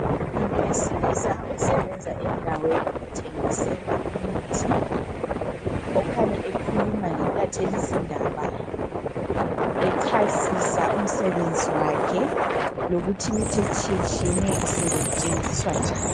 Umuntu wesilisa osebenza endaweni ethengiselwa imithi. Okhanya ekhuluma lentatheli zindaba echasisa umsebenzi wakhe ,lokuthi imithi etshiye tshiyeneyo isetshenziswa njani.